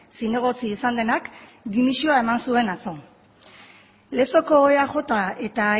zinegotzi izan denak dimisioa eman zuen atzo lezoko eaj eta